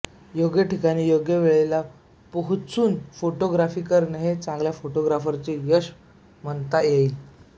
योग्य ठिकाणी योग्य वेळेला पोहचुन फोटोग्राफी करणे हे चांगल्या फोटोग्राफीचे यश म्हणता येईल